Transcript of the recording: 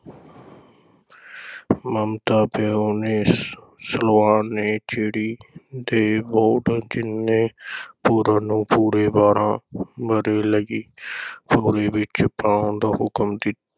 ਮਮਤਾ ਵਿਹੂਣੇ ਸ~ ਸਲਵਾਨ ਨੇ ਚਿੜੀ ਦੇ ਬੋਟ ਜਿੰਨੇ ਪੂਰਨ ਨੂੰ ਪੂਰੇ ਬਾਰ੍ਹਾਂ ਵਰ੍ਹੇ ਲਈ ਭੌਰੇ ਵਿਚ ਪਾਉਣ ਦਾ ਹੁਕਮ ਦਿ~